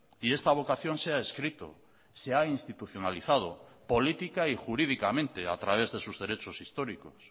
y esta vocación se ha escrito se ha institucionalizado política y jurídicamente a través de sus derechos históricos